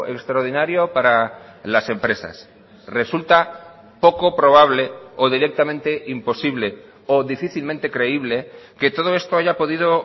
extraordinario para las empresas resulta poco probable o directamente imposible o difícilmente creíble que todo esto haya podido